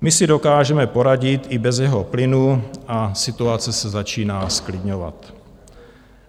My si dokážeme poradit i bez jeho plynu a situace se začíná zklidňovat.